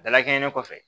Dalakɛɲɛ kɔfɛ